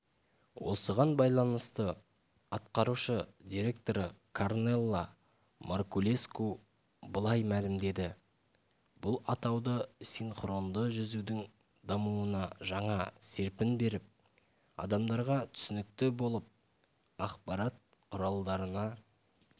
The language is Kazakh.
осыған байланысты атқарушы директоры корнела маркулеску былай мәлімдеді бұл атауды синхронды жүзудің дамуына жаңа серпін беріп адамдарға түсінікті болып ақпарат құралдарына